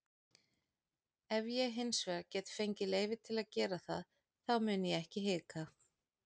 Ef ég hinsvegar get fengið leyfi til að gera það þá mun ég ekki hika.